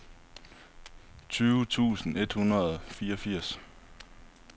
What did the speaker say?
tyve tusind et hundrede og fireogfirs